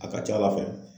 A ka ca ala fɛ